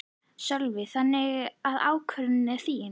Sölvi: Þannig að ákvörðunin er þín?